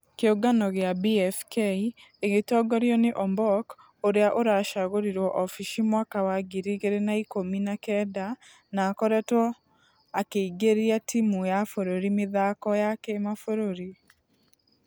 Kĩũngano gĩa BFK ĩgĩtongorio nĩ ombok ũrĩa ũracagũrirwo ofici mwaka wa ngiri igĩrĩ na ikũmi na kenda na akoretwo akĩingĩria timũ ya bũrũri mĩthako ...ya kĩmabũrũri.